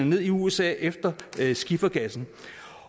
ned i usa efter skifergassen